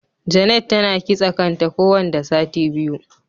Janet tana kitse kan ta ko wanda sati biyu.